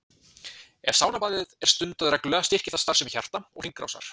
Ef saunabað er stundað reglulega styrkir það starfsemi hjarta og hringrásar.